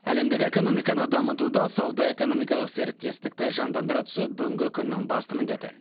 әлемдік экономиканы дамытуда сауда экономикалық серіктестікті жандандыра түсу бүгінгі күннің басты міндеті